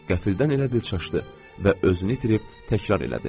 Qəfildən elə bil çaşdı və özünü itirib təkrar elədi.